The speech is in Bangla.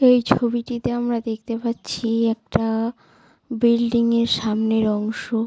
এই ছবিটিতে আমরা দেখতে পাচ্ছি-ই একটা বিল্ডিং -এর সামনের অংশ।